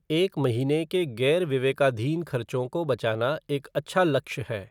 एक महीने के गैर विवेकाधीन खर्चों को बचाना एक अच्छा लक्ष्य है।